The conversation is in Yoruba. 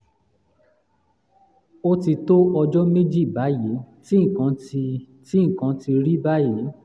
ó ti tó ọjọ́ méjì báyìí tí nǹkan ti tí nǹkan ti rí báyìí